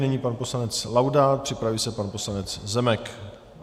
Nyní pan poslanec Laudát, připraví se pan poslanec Zemek.